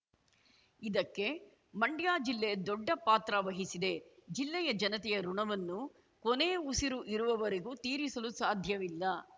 ಇದಕ್ಕೆ ಮಂಡ್ಯ ಜಿಲ್ಲೆ ದೊಡ್ಡಪಾತ್ರ ವಹಿಸಿದೆ ಜಿಲ್ಲೆಯ ಜನತೆಯ ಋಣವನ್ನು ಕೊನೆ ಉಸಿರು ಇರುವವರೆಗೂ ತೀರಿಸಲು ಸಾಧ್ಯವಿಲ್ಲ